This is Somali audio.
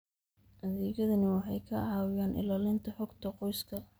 Adeegyadani waxay ka caawiyaan ilaalinta xogta qoyska.